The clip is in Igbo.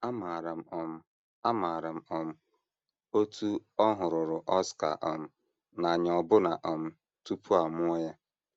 Amaara m um Amaara m um otú ọ hụruru Oscar um n’anya ọbụna um tupu a mụọ ya.